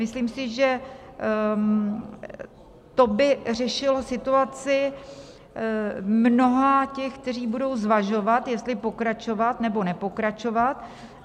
Myslím si, že to by řešilo situaci mnoha těch, kteří budou zvažovat, jestli pokračovat, nebo nepokračovat.